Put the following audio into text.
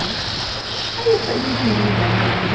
Aí foi muito linda a minha vida.